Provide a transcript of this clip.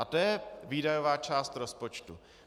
A to je výdajová část rozpočtu.